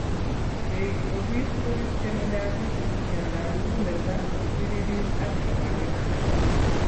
Keiik obese koriskeni diabetes, miondab muguleldo, kiptiririt, ak libaniik alak